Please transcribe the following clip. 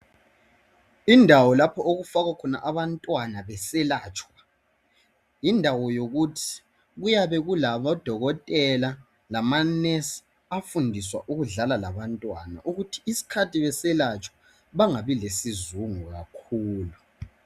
indawo lapho okufakwa khona abantwana beselatshwa yindawo yokuthi kuyabe kulabo dokotela lama nurse afundiswa ukudlala labantwana ukuthi ngesikhathi beselatshwa bengabi lesizungu kakhulu